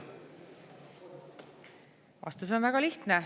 Vastus on väga lihtne.